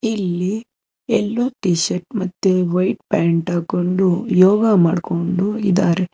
ಇಲ್ಲಿ ಎಲ್ಲೋ T shirt ಮತ್ತೆ ವೈಟ್ ಪ್ಯಾಂಟ್ ಹಾಕೊಂಡು ಯೋಗ ಮಾಡ್ಕೊಂಡು ಇದಾರೆ.